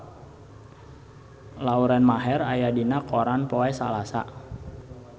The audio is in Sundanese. Lauren Maher aya dina koran poe Salasa